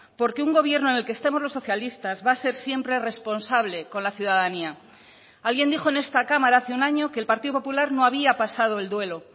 porque un gobierno en el que estemos los socialistas va a ser siempre responsable con la ciudadanía alguien dijo en esta cámara hace un año que el partido popular no había pasado el duelo